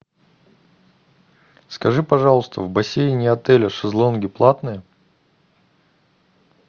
скажи пожалуйста в бассейне отеля шезлонги платные